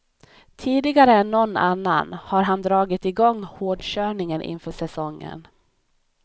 Tidigare än någon annan har han dragit igång hårdkörningen inför säsongen.